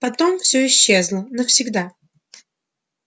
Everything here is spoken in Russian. потом всё исчезло навсегда